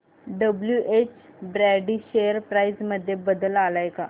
WH Brady share price मध्ये बदल आलाय का